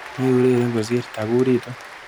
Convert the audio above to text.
Meureren kosir, takuriitu.